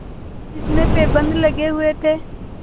जिसमें पैबंद लगे हुए थे